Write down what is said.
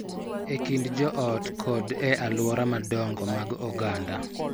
E kind joot kod e alwora madongo mag oganda.